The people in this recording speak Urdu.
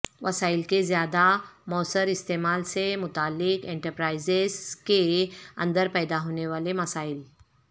وسائل کے زیادہ موثر استعمال سے متعلق انٹرپرائز کے اندر پیدا ہونے والے مسائل